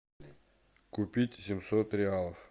купить семьсот реалов